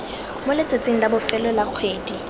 moletsatsing la bofelo la kgwedi